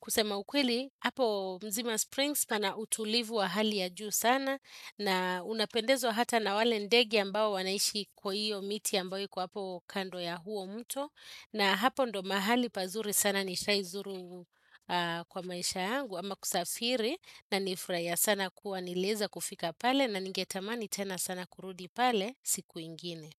Kusema ukweli, hapo mzima Springs pana utulivu wa hali ya juu sana na unapendezwa hata na wale ndege ambao wanaishi kwa hiyo miti ambayo iko hapo kando ya huo mto na hapo ndo mahali pazuri sana nishai zuru kwa maisha yangu ama kusafiri na nilifuraia sana kuwa nilieza kufika pale na ningetamani tena sana kurudi pale siku ingine.